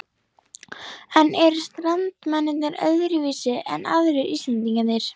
En eru Strandamenn öðruvísi en aðrir Íslendingar?